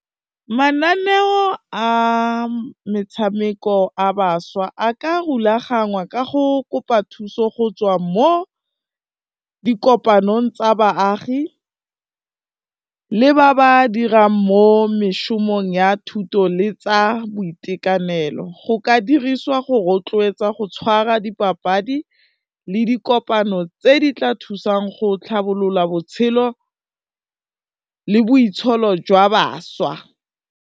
Mananeo a metshameko a bašwa a ka rulaganngwa ka go kopa thuso go tswa mo di kopanong tsa baagi le ba ba dirang mo mešomong ya thuto le tsa boitekanelo go ka diriswa go rotloetsa go tshwara dipapadi le dikopano tse di tla thusang go tlhabolola botshelo le boitsholo jwa bašwa.